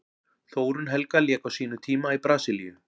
Þórunn Helga lék á sínum tíma í Brasilíu.